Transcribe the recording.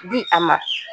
Di a ma